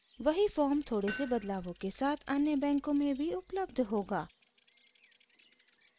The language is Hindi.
वही फॉर्म थोड़े से बदलावों के साथ अन्य बैंकों में भी उपलब्ध होगा